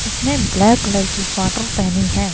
उसने black colour की sweater पहनी है।